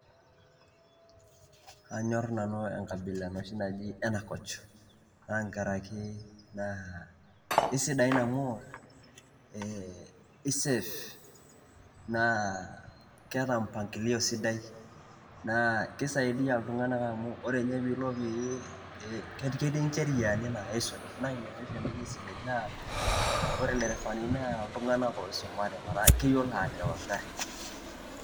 kanyor nanu enkabila enoshi naji Ena Coach naa nkaraki naa kesidain amu isave naa keeta mpangilio sidai naa kisaidia iltung'anak amu ore nye piilo um ketii ncheriani naa isuj naa ina oshi entoki sidai naa ore ilderefani naa iltung'anak oisumate metaa keyiolo atereu eng'ari.